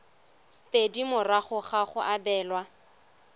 pedi morago ga go abelwa